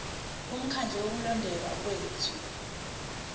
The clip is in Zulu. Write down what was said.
bomkhandlu wokulondeka kwethu